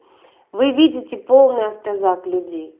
вы ведите полный автозак людей